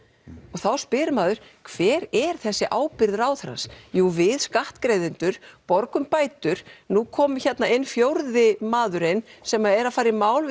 og þá spyr maður hver er þessi ábyrgð ráðherrans jú við skattgreiðendur borgum bætur nú kom inn fjórði maðurinn sem er að fara í mál